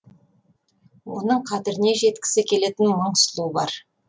оның қадіріне жеткісі келетін мың сұлу бар